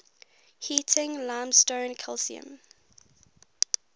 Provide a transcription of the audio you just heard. heating limestone calcium